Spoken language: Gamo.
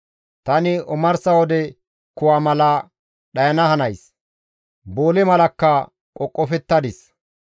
Tani omarsa wode kuwa mala dhayana hanays; boole malakka qoqofettadis.